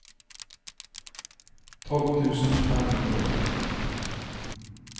tolv tusen fem hundre og atten